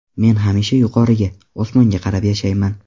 Men hamisha yuqoriga – osmonga qarab yashayman”.